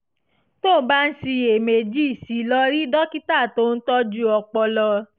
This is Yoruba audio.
tó o bá ń ṣiyèméjì sí i lọ rí dókítà tó ń tọ́jú ọpọlọ